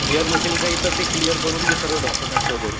Clear नशेल काही तर ते क्लिअर करून घे सगळं डॉक्युमेंट वगैरे.